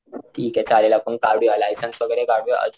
ठीके चालेल आपण काढूया लायसन्स वैगेरे काढूया अजून,